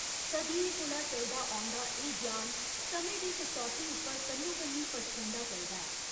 सदियें कोला चलदा औंदा एह् ज्ञान समें दी कसौटी उप्पर कन्नो कन्नी परखोंदा चलदा ऐ।